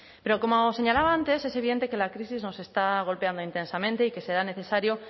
pero como señalaba antes es evidente que la crisis nos está golpeando intensamente y que será necesario